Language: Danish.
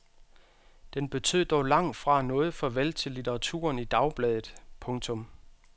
Den betød dog langt fra noget farvel til litteraturen i dagbladet. punktum